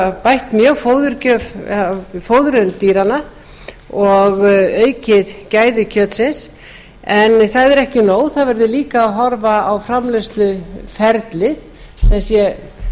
hafa bætt mjög fóður dýranna og aukið gæði kjötsins en það er ekki nóg það verður líka að horfa á framleiðsluferlið